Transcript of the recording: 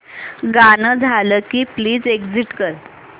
गाणं झालं की प्लीज एग्झिट कर